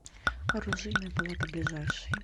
оружейная палата ближайший